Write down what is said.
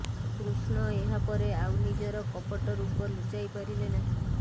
କୃଷ୍ଣ ଏହା ପରେ ଆଉ ନିଜର କପଟ ରୂପ ଲୁଚାଇ ପାରିଲେ ନାହିଁ